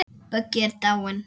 Böggi er dáinn.